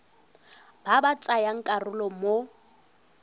ba ba tsayang karolo mo